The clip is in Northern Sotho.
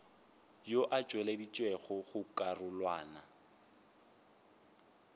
ao a tšweleditšwego go karolwana